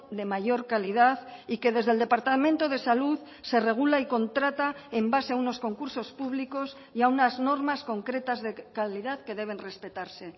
de mayor calidad y que desde el departamento de salud se regula y contrata en base a unos concursos públicos y a unas normas concretas de calidad que deben respetarse